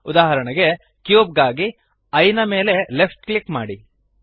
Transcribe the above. ಉದಾಹರಣೆಗೆ ಕ್ಯೂಬ್ ಗಾಗಿ ಈಯೆ ದ ಮೇಲೆ ಲೆಫ್ಟ್ ಕ್ಲಿಕ್ ಮಾಡಿರಿ